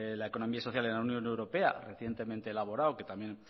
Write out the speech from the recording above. la economía social en la unión europea recientemente elaborado que también